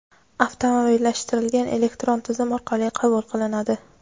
avtomatlashtirilgan elektron tizim orqali qabul qilinadi.